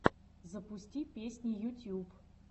запусти песни ютьюб